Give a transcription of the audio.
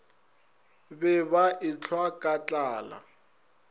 be ba ehlwa ka tlala